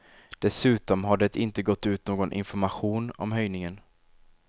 Dessutom har det inte gått ut någon information om höjningen.